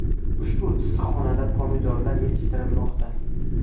Ushbu issiqxonada pomidorlar yetishtirilmoqda.